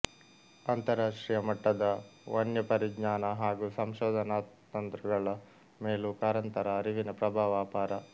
ಅಂತರರಾಷ್ಟ್ರೀಯ ಮಟ್ಟದ ವನ್ಯಪರಿಜ್ಞಾನ ಹಾಗೂ ಸಂಶೋಧನಾತಂತ್ರಗಳ ಮೇಲೂ ಕಾರಂತರ ಅರಿವಿನ ಪ್ರಭಾವ ಅಪಾರ